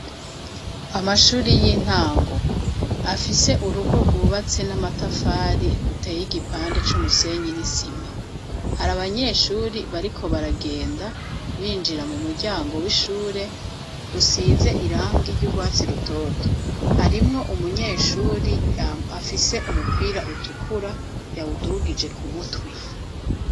amashure y'intango afise urugo rwubatse n'amatafari ruteye igipande c'umusenyi n'isima hari abanyeshure bariko baragenda binjira mu muryango w'ishure usize irangi ry'ubwatsi rutoto harimwo umunyeshure afise umupira utukura yawudugije ku mutwe.